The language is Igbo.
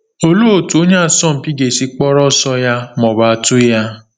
Olee otú onye asọmpi ga-esi kpọrọ ọsọ ya ma ọ bụ atụ ya?